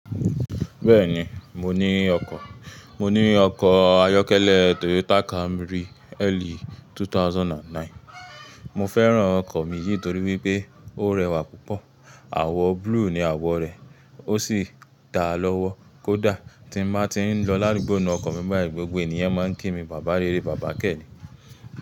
Bẹ́ẹ̀ni mo ní ọkọ̀, mo ní ọkọ̀ ayọ́kẹ́lẹ́ Toyota Camry LE 2009. Mo fẹ́ràn ọkọ̀ mi yìí torí wípé ó rẹwà púpọ̀, àwọ̀ blue ni àwọ̀ rẹ̀, ó sì dáa lọ́wọ́. Kódà ti n máa ti ń lọ lárugbo ní ọkọ̀ mi báyìí, gbogbo ènìyàn máa ń kí mi bàbá eh, bàbá Kẹ́.